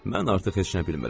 Mən artıq heç nə bilmirəm.